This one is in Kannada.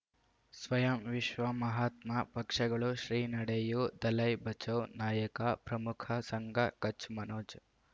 ಸ್ವಯಂ ವಿಶ್ವ ಮಹಾತ್ಮ ಪಕ್ಷಗಳು ಶ್ರೀ ನಡೆಯೂ ದಲೈ ಬಚೌ ನಾಯಕ ಪ್ರಮುಖ ಸಂಘ ಕಚ್ ಮನೋಜ್